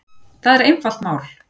Það er einfalt mál